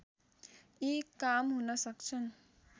यी काम हुनसक्छन्